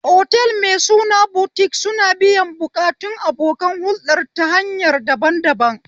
Otal mai suna Butik suna biyan buƙatun abokan huɗɗar ta hanya daban daban